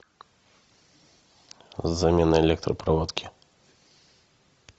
замена электропроводки